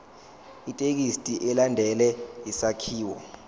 ithekisthi ilandele isakhiwo